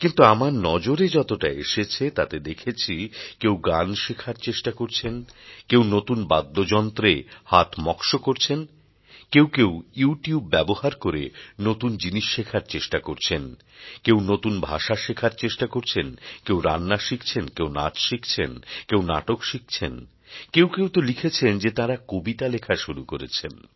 কিন্তু আমার নজরে যতটা এসেছে তাতে দেখেছি কেউ গান শেখার চেষ্টা করছেন কেউ নতুন বাদ্যযন্ত্রে হাত মক্ শো করছেন কেউ কেউ ইউ টিউব ব্যবহার করে নতুন জিনিস শেখার চেষ্টা করছেন কেউ নতুন ভাষা শেখার চেষ্টা করছেন কেউ রান্না শিখছেন কেউ নাচ শিখছেন কেউ নাটক শিখছেন কেউ কেউ তো লিখেছেন যে তাঁরা কবিতা লেখা শুরু করেছেন